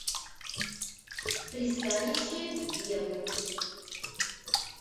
пристанище евы